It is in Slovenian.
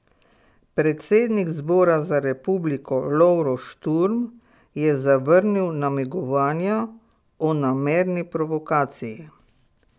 Predsednik Zbora za republiko Lovro Šturm je zavrnil namigovanja o namerni provokaciji.